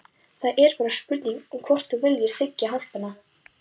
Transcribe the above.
Það er bara spurning um hvort þú viljir þiggja hjálpina.